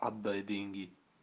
отдай деньги